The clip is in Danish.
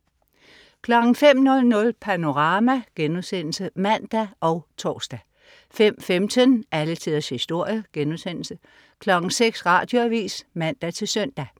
05.00 Panorama* (man og tors) 05.15 Alle tiders historie* 06.00 Radioavis (man-søn)